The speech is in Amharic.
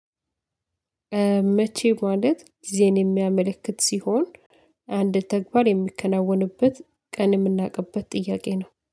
መቼ ማለት ጊዜን የሚያመለክት ሲሆን አንድ ተግባር የሚከናወንበትን ቀን የምናውቅበት ጥያቄ ነው